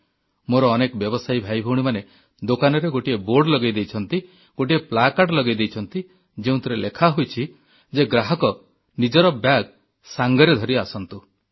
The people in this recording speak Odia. ମୋର ଅନେକ ବ୍ୟବସାୟୀ ଭାଇଭଉଣୀମାନେ ଦୋକାନରେ ଗୋଟିଏ ବୋର୍ଡ଼ ଲଗାଇ ଦେଇଛନ୍ତି ଗୋଟିଏ ପ୍ଲାକାର୍ଡ ଲଗାଇ ଦେଇଛନ୍ତି ଯେଉଁଥିରେ ଲେଖାହୋଇଛି ଯେ ଗ୍ରାହକ ନିଜର ବ୍ୟାଗ ସାଙ୍ଗରେ ଧରି ଆସନ୍ତୁ